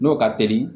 N'o ka teli